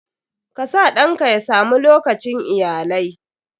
KA sa ɗanka ya sa mu lokacin iyalai.